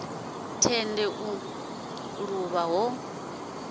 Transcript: tende u luvha ho ḓo